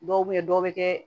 Dɔw bɛ yen dɔw bɛ kɛ